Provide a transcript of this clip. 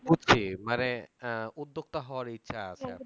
বুঝছি মানে উদ্যোক্তা হওয়ার ইচ্ছা আছে